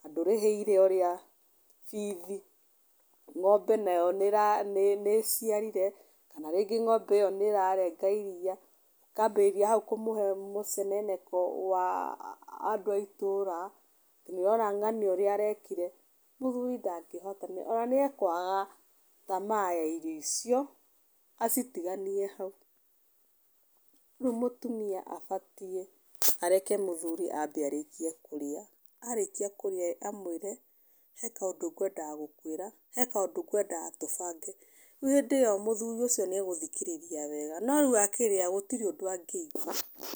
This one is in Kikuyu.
na ndũrĩhĩire ũrĩa bithi, ng'ombe nayo nĩ nĩ nĩ ĩciarire kana rĩngĩ ng'ombe ĩyo nĩ ĩrarenga iria, ũkambĩrĩria hau kũmũhe mũceneneko wa andũ a itũra, atĩ nĩ ũrona ng'ania ũrĩa arekire. Mũthuri ndangĩhotanĩria ona nĩ ekwaga tamaa ya irio cio acitiganie hau. Rĩu mũtumia abatie areke mũthuri ambe arĩkie kũrĩa, arĩkia kũrĩa-ĩ amwĩre he kaũndũ ngwendaga gũkuĩra, he kaũndũ ngwendaga tũbange. Rĩu hĩndĩ iyo mũthuri ũcio nĩ egũthikĩrĩria wega, no rĩu akĩrĩa gũtirĩ ũndũ angĩigua.